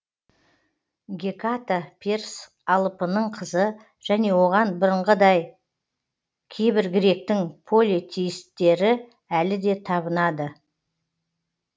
геката перс алыпының қызы және оған бұрыңғыдай кейбір гректің полетеисттері әлі де табынады